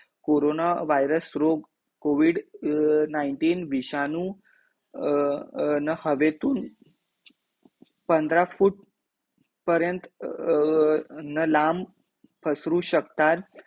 corona virus रोग covid nineteen विषाणू अ अ न हवेतून पंधरा फूट पर्यंत अ अ न लांब पसरू शकतात